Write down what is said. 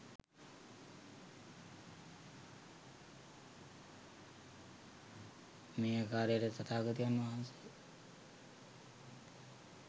මේ ආකාරයට තථාගතයන් වහන්සේ